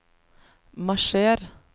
marsjer